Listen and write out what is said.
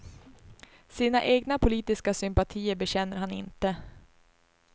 Sina egna politiska sympatier bekänner han inte.